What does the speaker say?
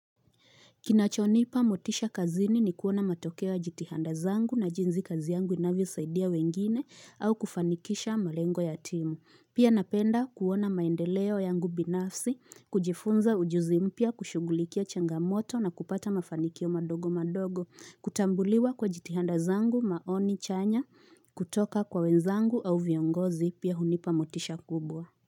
Kinachonipa motisha kazini ni kuona matokeo ya jitihada zangu na jinsi kazi yangu inavyosaidia wengine au kufanikisha malengo ya timu. Pia napenda kuona maendeleo yangu binafsi, kujifunza ujuzi mpya, kushugulikia changamoto na kupata mafanikio madogo madogo, kutambuliwa kwa jitihada zangu, maoni chanya, kutoka kwa wenzangu au viongozi pia hunipa motisha kubwa.